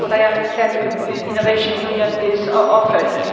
That is what I understand the Innovation Union is offering.